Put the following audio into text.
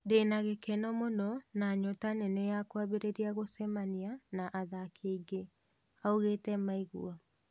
"ndina gĩ keno mũno na nyota nene ya kwambĩrĩria gũcemania na athaki angĩ, augĩte Miguel